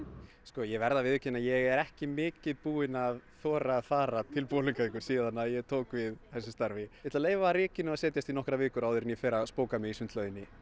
ég verð að viðurkenna að ég er ekki mikið búinn að þora að fara til Bolungarvíkur síðan ég tók við þessu starfi en ætla að leyfa rykinu að setjast í nokkrar vikur áður en ég fer að spóka mig í sundlauginni